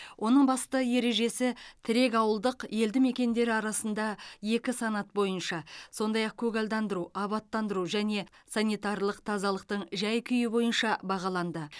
оның басты ережесі тірек ауылдық елді мекендер арасында екі санат бойынша сондай ақ көгалдандыру абаттандыру және санитарлық тазалықтың жай күйі бойынша бағаланды